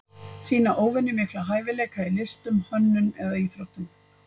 Sýna óvenjulega mikla hæfileika í listum, hönnun eða íþróttum.